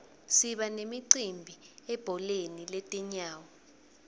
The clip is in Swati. siba nemicimbi ebholeni letinyawo